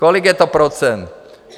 Kolik je to procent?